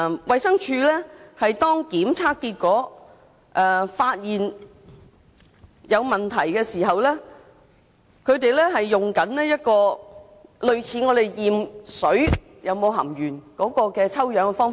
衞生署在檢測結果發現有問題時，所採用的是類似檢測食水中是否含鉛的抽樣方法。